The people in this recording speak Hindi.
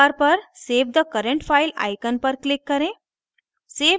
toolbar पर save the current file icon पर click करें